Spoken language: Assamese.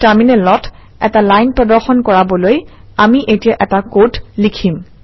টাৰমিনেলত এটা লাইন প্ৰদৰ্শন কৰাবলৈ আমি এতিয়া এটা কড লিখিম